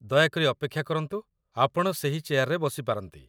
ଦୟାକରି ଅପେକ୍ଷା କରନ୍ତୁ, ଆପଣ ସେହି ଚେୟାରରେ ବସିପାରନ୍ତି